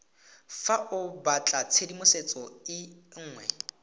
fa o batlatshedimosetso e nngwe